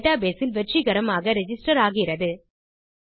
database இல் வெற்றிகரமாக register ஆகிறது